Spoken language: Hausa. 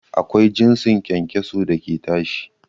Akwai jinsin kyankyaso da ke tashi